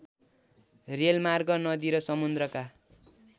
रेलमार्ग नदी र समुद्रका